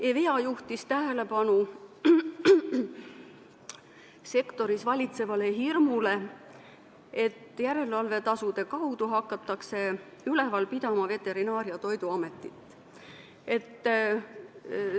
EVEA juhtis tähelepanu sektoris valitsevale hirmule, et järelevalvetasude kaudu hakatakse Veterinaar- ja Toiduametit üleval pidama.